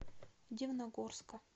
дивногорска